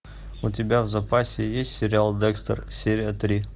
у тебя в запасе есть сериал декстер серия три